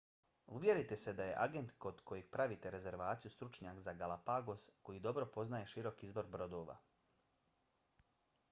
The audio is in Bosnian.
uvjerite se da je agent kod kojeg pravite rezervaciju stručnjak za galapagos koji dobro poznaje širok izbor brodova